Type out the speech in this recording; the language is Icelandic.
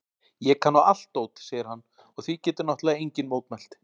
Ég kann á allt dót, segir hann og því getur náttúrlega enginn mótmælt.